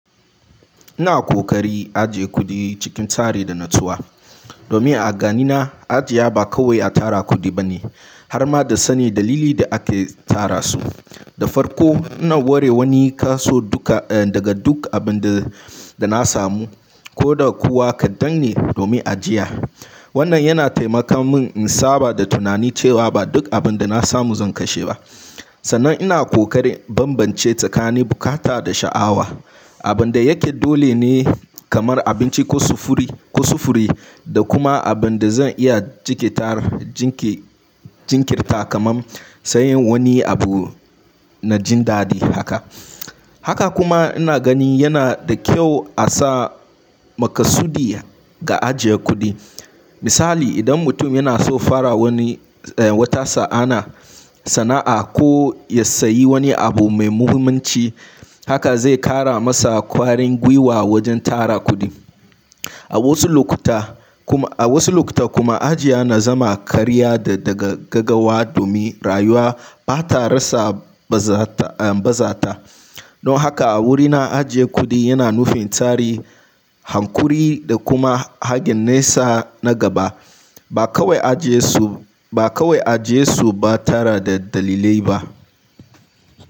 Ina kokari ajiye kuɗi cikin tsari da natsuwa. Domin a ganina ajiya ba kawai a tara kuɗi ba ne harma da sanin dalilin da ake tara su. Da farko, ina ware wani kaso duka daga duk abun da na samu ko da kuwa kaɗan ne domin ajiya. Wannan yana taimaka min in saba da tunani cewa ba duk abin da na samu zan kashe ba. Sannan ina kokarin bambance tsakanin bukata da sha'awa. Abin da yake dole ne kamar abinci ko sufuri, ko sufuri da kuma abin da zan iya jinkirtar, jinke, jinkirta kamar sayen wani abu na jin daɗi haka. Haka kuma ina gani yana da kyau a sa maka sudi ga ajiyar kuɗi. Misali idan mutum yana so fara wani, eh, wata sa'ana, sana'a ko ya sayi wani abu mai muhimmanci, haka zai ƙara masa ƙwarin gwiwa wajen tara kuɗi. A wasu lokuta kuma, a wasu lokuta kuma ajiya na zama karya da daga gagawa domin rayuwa ba ta rasa bazata, eh, bazata. Don haka a wurina ajiye kuɗi yana nufin tsari, hankuri da kuma hagen nesa na gaba. Ba kawai ajiyesu, ba kawai ajiyesu ba tara da dalilai ba.